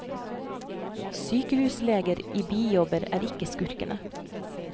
Sykehusleger i bijobber er ikke skurkene.